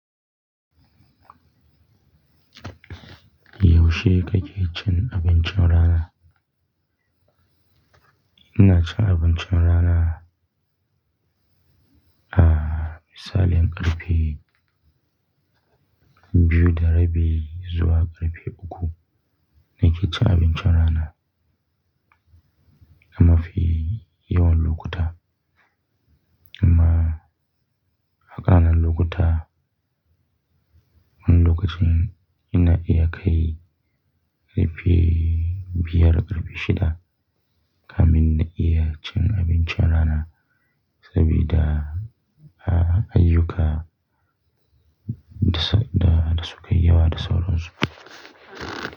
Yaushe kake cin abincin rana? Ina cin abincin rana, ah, misali an ƙarfe biyu da rabi zuwa ƙarfe uku. Na ke cin abincin rana, amma fi yawan lokuta, amma akalla lokuta wani lokacin ina iya kai ƙarfe biyar, ƙarfe shida. Kamin na iya cin abincin rana sabida, ah, ayyuka da sukayi yawa da sauran su.